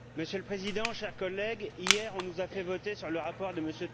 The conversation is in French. Monsieur le Président, chers collègues, hier, on nous a fait voter sur le rapport de M.